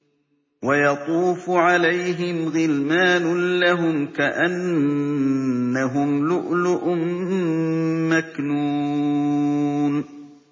۞ وَيَطُوفُ عَلَيْهِمْ غِلْمَانٌ لَّهُمْ كَأَنَّهُمْ لُؤْلُؤٌ مَّكْنُونٌ